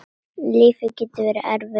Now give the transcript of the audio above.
Lífið getur verið erfitt.